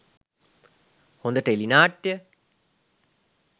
හොඳ ටෙලි නාට්‍ය